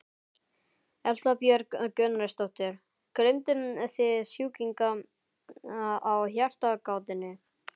Erla Björg Gunnarsdóttir: Gleymduð þið sjúklingi á Hjartagáttinni?